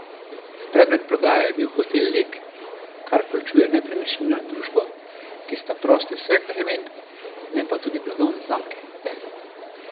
Predmet prodaje je bil Hotel Lek, kar vključuje nepremičnino in družbo, ki sta prosti vseh bremen, ne pa tudi blagovne znamke.